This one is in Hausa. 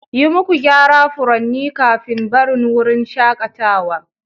Yi muku gyara furanni kafin barin wurin shakatawa